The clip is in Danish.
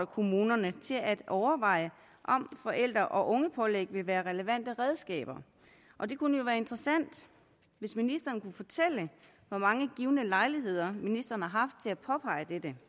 kommunerne til at overveje om forældre og ungepålæg vil være relevante redskaber og det kunne jo være interessant hvis ministeren kunne fortælle hvor mange givne lejligheder ministeren har haft til at påpege dette